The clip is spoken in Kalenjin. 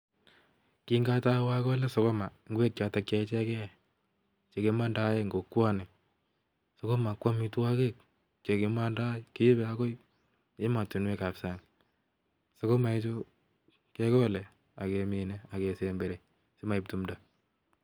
Kingotou akole sukuma, ngwek choton chekimondoen en kokwoni, sukuma ko amitwogik chekimondoe kiibe agoi emotunwek ab sang'.Sukuma ichu kegole ak kemine ak kesemberi simoib tumdo.